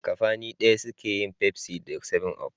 Kafani daya suke yin Pepsi da 7up.